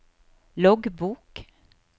loggbok